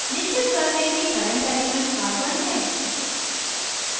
निश्चित कर लें कि current element carbon है